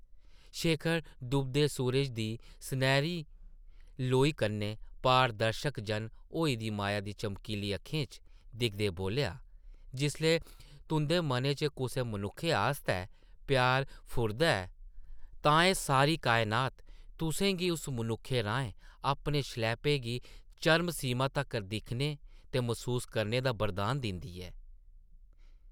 शेखर डुबदे सूरजै दी सनैह्री लोई कन्नै पारदर्शक जन होई दी माया दी चमकीली अक्खें च दिखदे बोल्लेआ, जिसलै तुंʼदे मनै च कुसै मनुक्खै आस्तै प्यार फुरदा ऐ तां एह् सारी कायनात तुसें गी उस मनुक्खै राहें अपने शलैपे गी चरमसीमा तक्कर दिक्खने ते मसूस करने दा वरदान दिंदी ऐ ।